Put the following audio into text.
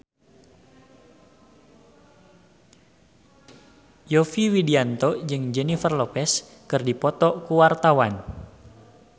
Yovie Widianto jeung Jennifer Lopez keur dipoto ku wartawan